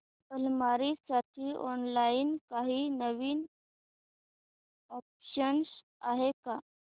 अलमारी साठी ऑनलाइन काही नवीन ऑप्शन्स आहेत का